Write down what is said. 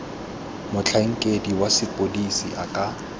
motlhankedi wa sepodisi a ka